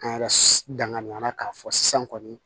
An yɛrɛ danganiya la k'a fɔ sisan kɔni